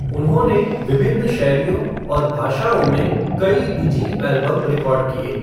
उन्होंने विभिन्न शैलियों और भाषाओं में कई निजी एल्बम रिकॉर्ड किए।